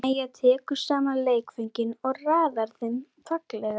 Mæja tekur saman leikföngin og raðar þeim fallega.